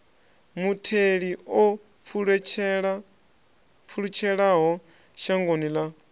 mutheli o pfulutshelaho shangoni ḽa